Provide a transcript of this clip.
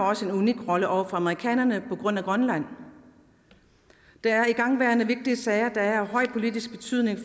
også en unik rolle over for amerikanerne på grund af grønland der er igangværende vigtige sager der er af stor politisk betydning